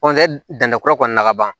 danni kura kɔni na ka ban